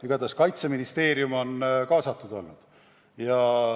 Igatahes Kaitseministeerium on kaasatud olnud.